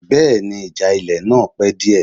Bẹ́ẹ̀ni, ìjà ilẹ̀ náà pẹ́ díẹ̀